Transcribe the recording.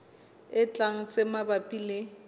e tlang tse mabapi le